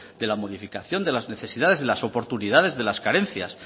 de la modificación de las necesidades de las oportunidades de las carencias